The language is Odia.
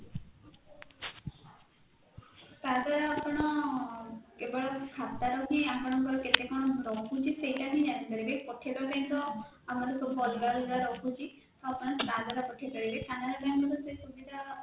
ତାଦ୍ଵାରା ଆପଣ କେବଳ ଖାତାର ହିଁ ଆପଣଙ୍କର କେତେ କଣ ରହୁଛି ସେଇଟା ହିଁ ଜାଣିପାରିବେ ପଠେଇବା ପାଇଁ ତା ଆମର ସବୁ ଅଲଗା ଅଲଗା ରହୁଛି ଆଉ ଆପଣ ତାଦ୍ଵାରା ପଠେଇପାରିବେ canara bank ରେ ତ ସେ ସୁବିଧା